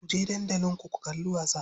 Kuje dandali ku kalli wasa.